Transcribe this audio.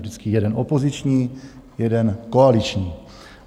Vždycky jeden opoziční, jeden koaliční.